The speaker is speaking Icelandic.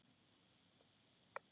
Ég teygði mig.